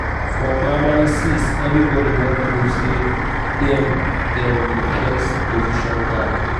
for primary six everybody wan prove say dem dem be first position gang.